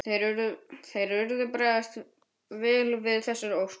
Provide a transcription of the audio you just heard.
Þeir urðu að bregðast vel við þessari ósk.